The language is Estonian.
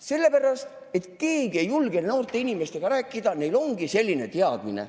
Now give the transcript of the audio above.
Sellepärast, et keegi ei julge noorte inimestega rääkida, neil ongi selline teadmine.